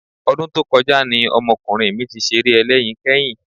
Ọdún tó kọjá ni ọmọkùnrin mi ti ṣeré ẹlẹ́yin kẹ́yìn